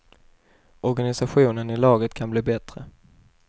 Organisationen i laget kan bli bättre.